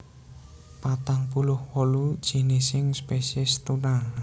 patang puluh wolu jinising spesies tuna